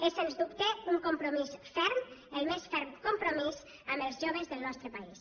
és sens dubte un compromís ferm el més ferm compromís amb els joves del nostre país